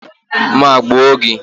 Maa gbuo gi.